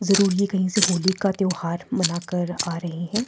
जरूर ये कहीं से होली का त्यौहार मना कर आ रही है।